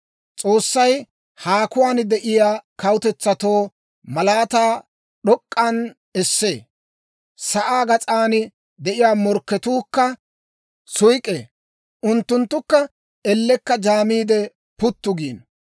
S'oossay haakuwaan de'iyaa kawutetsatoo malaataa d'ok'k'an essee; sa'aa gas'an de'iyaa morkketuukka suyk'k'ee. Unttunttukka ellekka jaamiide, puttu giino.